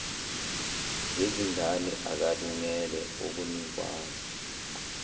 ngezingane akalungele ukunikwa